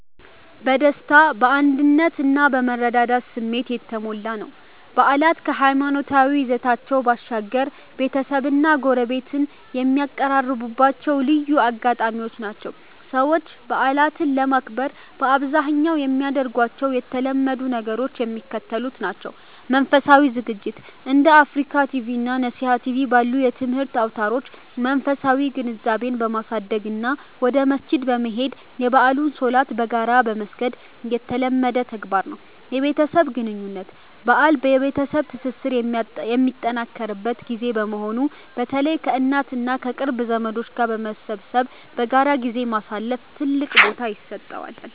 በደስታ፣ በአንድነት እና በመረዳዳት ስሜት የተሞላ ነው። በዓላት ከሃይማኖታዊ ይዘታቸው ባሻገር፣ ቤተሰብና ጎረቤት የሚቀራረቡባቸው ልዩ አጋጣሚዎች ናቸው። ሰዎች በዓላትን ለማክበር በአብዛኛው የሚያደርጓቸው የተለመዱ ነገሮች የሚከተሉት ናቸው፦ መንፈሳዊ ዝግጅት፦ እንደ አፍሪካ ቲቪ እና ነሲሃ ቲቪ ባሉ የትምህርት አውታሮች መንፈሳዊ ግንዛቤን በማሳደግ እና ወደ መስጂድ በመሄድ የበዓሉን ሶላት በጋራ መስገድ የተለመደ ተግባር ነው። የቤተሰብ ግንኙነት፦ በዓል የቤተሰብ ትስስር የሚጠናከርበት ጊዜ በመሆኑ፣ በተለይ ከእናት እና ከቅርብ ዘመዶች ጋር በመሰብሰብ በጋራ ጊዜ ማሳለፍ ትልቅ ቦታ ይሰጠዋል።